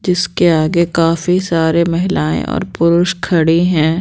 जिसके आगे काफी सारे महिलाएं और पुरुष खड़ी हैं।